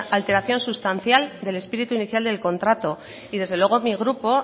alteración sustancial del espíritu inicial del contrato y desde luego mi grupo